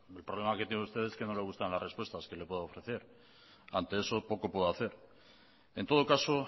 el problema que tiene usted es que no le gustan las respuestas que le puedo ofrecer ante eso poco puedo hacer en todo caso